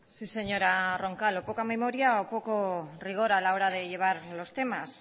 sí señora roncal o poca memoria o poco rigor a la hora de llevar los temas